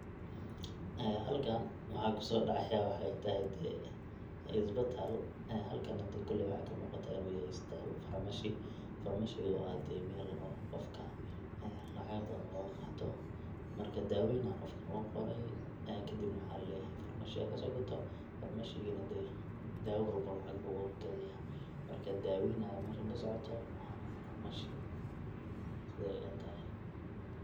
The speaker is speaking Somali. Ee halkan waxa kasodhacaya waxatahay dee isbatal, ee halkan koley waxaa kamuuqata inu yahay isbatal farmashi, farmashi oo ah dee mel qofka lacaga badan loga qaato marka daawoyin aa qafka loo qorey kadibna waxa laleyahay farmashiga hakasoo gatom ,farmashigi na dee daawa walbo na lacag buu oga gadaya, marka daaweyn aya meshan kasocooto, farmashi siday ila tahay.